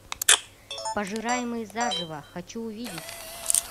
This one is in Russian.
пожираемый заживо хочу увидеть